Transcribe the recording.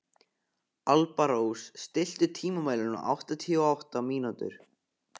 Alparós, stilltu tímamælinn á áttatíu og átta mínútur.